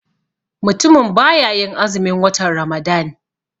Mutumin baya yin azumin watan ramadan.